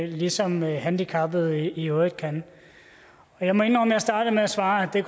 ligesom handicappede i øvrigt kan jeg må indrømme at jeg startede med at svare at det